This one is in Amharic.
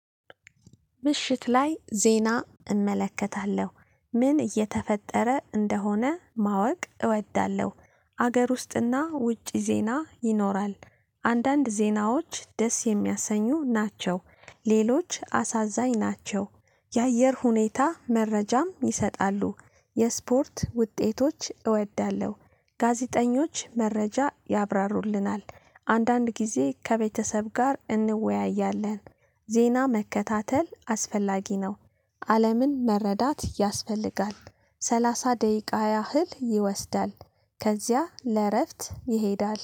ምሽት ላይ ዜና እመለከታለሁ ምን እየተፈጠረ እንደሆነ ማወቅ እወዳለሁ። አገር ውስጥና ውጪ ዜና ይኖራል። አንዳንድ ዜናዎች ደስ የሚያሰኙ ናቸው ሌሎች አሳዛኝ ናቸው። የአየር ሁኔታ መረጃም ይሰጣሉ የስፖርት ውጤቶች እወዳለሁ። ጋዜጠኞች መረጃ ያብራሩልናል አንዳንድ ጊዜ ከቤተሰብ ጋር እንወያያለን። ዜና መከታተል አስፈላጊ ነው። አለምን መረዳት ያስፈልጋል። ሰላሳ ደቂቃ ያህል ይወስዳል። ከዚያ ለእረፍት ይሄዳል